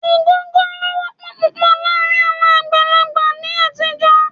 Ògógóró wọ́pọ̀ púpọ̀ láàárín àwọn àgbàlagbà ní àtijọ́.